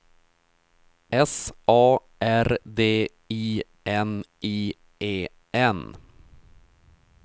S A R D I N I E N